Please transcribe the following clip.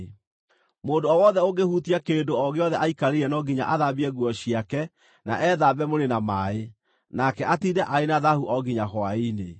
Mũndũ o wothe ũngĩhutia kĩndũ o gĩothe aikarĩire no nginya athambie nguo ciake na ethambe mwĩrĩ na maaĩ, nake atiinde arĩ na thaahu o nginya hwaĩ-inĩ.